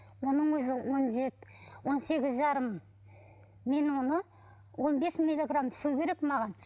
оның өзі он он сегіз жарым мен оны он бес миллиграмм ішу керек маған